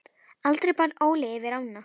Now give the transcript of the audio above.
Aldrei bar Óli yfir ána.